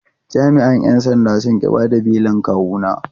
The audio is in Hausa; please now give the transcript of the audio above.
Jami’an ‘yan sandan sun ƙi bayar da belin kawuna.